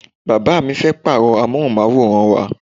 Bàbá mi fẹ́ pàrọ amohunmaworan wá.